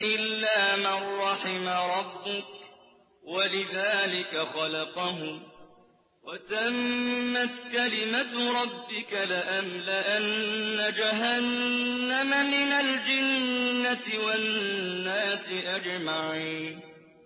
إِلَّا مَن رَّحِمَ رَبُّكَ ۚ وَلِذَٰلِكَ خَلَقَهُمْ ۗ وَتَمَّتْ كَلِمَةُ رَبِّكَ لَأَمْلَأَنَّ جَهَنَّمَ مِنَ الْجِنَّةِ وَالنَّاسِ أَجْمَعِينَ